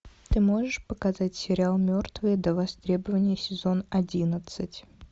ты можешь показать сериал мертвые до востребования сезон одиннадцать